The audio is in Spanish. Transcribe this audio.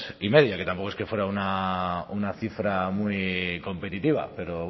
y media que tampoco es que fuera una cifra muy competitiva pero